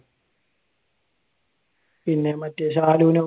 പിന്നെ മറ്റേ ശാലുനോ?